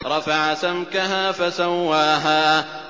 رَفَعَ سَمْكَهَا فَسَوَّاهَا